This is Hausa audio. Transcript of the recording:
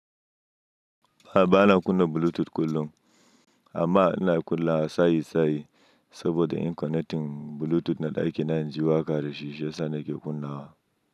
A'a bana kunna Bluetooth kullum, amma ina kunnawa sayi sayi saboda in connecting Bluetooth na ɗakina in ji waƙa da shisha sanda ke kunnawa.